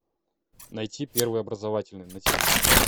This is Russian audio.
найти первый образовательный на тв